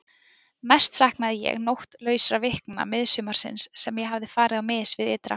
Mest saknaði ég nóttlausra vikna miðsumarsins sem ég hafði farið á mis við ytra.